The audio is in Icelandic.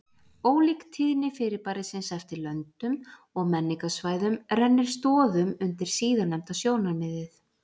ólík tíðni fyrirbærisins eftir löndum og menningarsvæðum rennir stoðum undir síðarnefnda sjónarmiðið